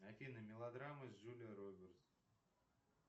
афина мелодрамы с джулией робертс